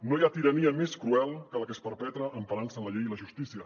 no hi ha tirania més cruel que la que es perpetra emparant se en la llei i la justícia